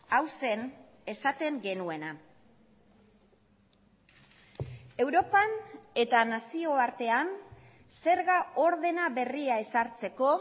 hau zen esaten genuena europan eta nazioartean zerga ordena berria ezartzeko